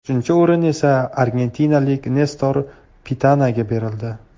Uchinchi o‘rin esa argentinalik Nestor Pitanaga berildi.